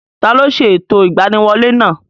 Taló ṣe ẹ̀tọ́ ìgbaniwolẹ́ náà?